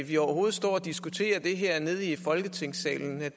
vi overhovedet står og diskuterer det her i folketingssalen